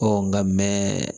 nka mɛ